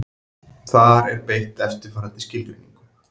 Þar er beitt eftirfarandi skilgreiningu: